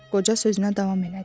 Qoca sözünə davam elədi.